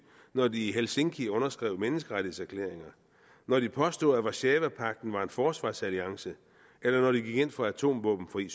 når de i helsinki underskrev menneskerettighedserklæringer når de påstod at warszawapagten var en forsvarsalliance eller når de gik ind for atomvåbenfri